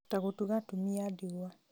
ta gũtuga atumia a ndigwa